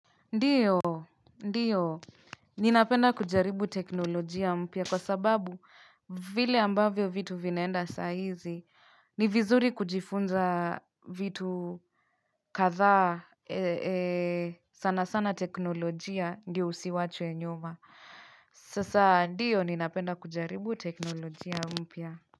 Ndiyo, ndiyo, ninapenda kujaribu teknolojia mpya kwa sababu vile ambavyo vitu vinaenda saa hizi, ni vizuri kujifunza vitu kadhaa sana sana teknolojia ndio usiachwe nyuma. Sasa, ndiyo, ninapenda kujaribu teknolojia mpya.